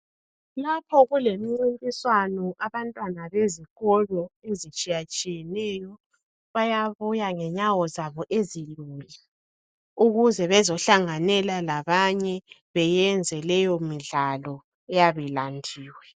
Lapho kulemincintiswano , abantwana bezikolo, ezitshiyatshiyeneyo, bayabuya ngenyawo zabo ezilula, ukuze bazehlanganyela labanye. Benze leyomidlalo eyabe ilandiwe.